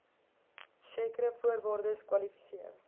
sekere voorwaardes kwalifiseer